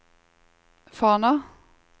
Fana